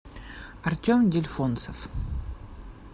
артем дельфонцев